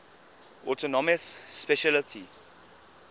autonomous specialty